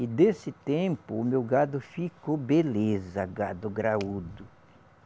E desse tempo, o meu gado ficou beleza, gado graúdo.